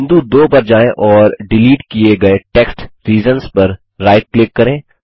बिंदु 2 पर जाएँ और डिलीट किये गये टेक्स्ट रीजन्स पर राइट क्लिक करें